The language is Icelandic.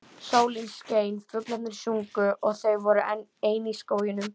Sólin skein, fuglarnir sungu og þau voru ein í skóginum.